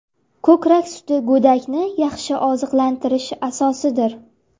Ko‘krak suti go‘dakni yaxshi oziqlantirish asosidir.